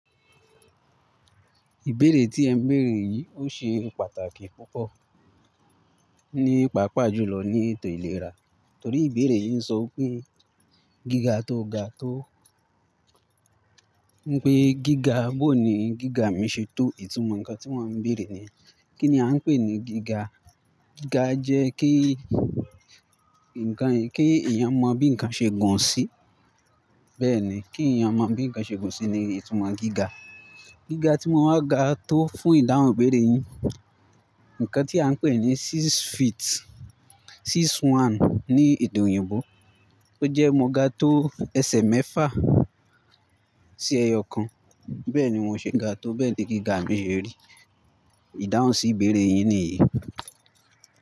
Ìbéèrè tí ẹ ń bèèrè yìí ó ṣe pàtàkì púpọ̀ nípa pàápàá jùlọ ní ètò ìlera, torí ìbéèrè yìí ń sọ pé gíga tó ga tó ń pe gíga, bó ni gíga mi ṣe tó? Ìtumọ̀ nǹkan tí wọ́n ń bèèrè ni, kí ni à ń pè ní gíga? Gíga jẹ́ kí ǹkan, kí èèyàn mọ bí ǹkan ṣe gàn sí. Bẹ́ẹ̀ni, kí èèyàn mọ bí ǹkan ṣe gàn sí ni ìtumọ̀ gíga. Gíga tí wọ́n máa ga tó fún ìdáhùn ìbéèrè yín, nǹkan tí à ń pè ní six feet, six one ní èdè òyìnbó. Ó jẹ́ mo ga tó ẹsẹ̀ mẹ́fà sí ẹyọ kan. Bẹ́ẹ̀ ni wọ́n ṣe ga tó, bẹ́ẹ̀ ni gíga mi ṣe rí. Ìdáhùn sí ìbéèrè yín nìyí.